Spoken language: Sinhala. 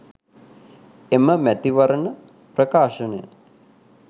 එම මැතිවරණ ප්‍රකාශනය